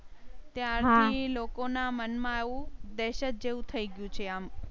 ઈ લોકો ના મન માં આવું દેહશત જેવું થઇ ગયું છે. આમ.